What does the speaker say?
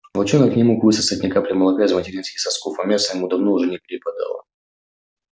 волчонок не мог высосать ни капли молока из материнских сосков а мяса ему уже давно не перепадало